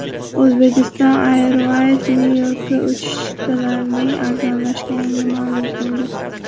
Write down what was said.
Uzbekistan Airways Nyu-Yorkka uchish chiptalarining arzonlashganini ma’lum qildi.